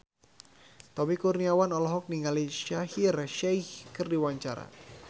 Tommy Kurniawan olohok ningali Shaheer Sheikh keur diwawancara